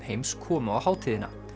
heims komu á hátíðina